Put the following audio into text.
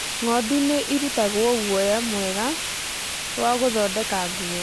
Ng'ondu nĩ irutagwo guoya mwega wa gũthondeka nguo.